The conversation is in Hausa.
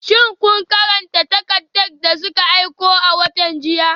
Shin kun karanta takardar da suka aiko a watan jiya?